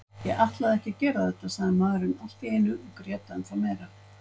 Ég ætlaði ekki að gera þetta, sagði maðurinn allt í einu og grét ennþá meira.